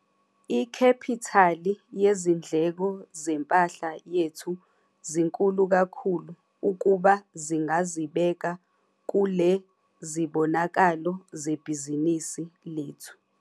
Ikhephithali yezindleko zempahla yethu zinkulu kakhulu ukuba zingazibeka kule zibonakalo zebhizinisi lethu.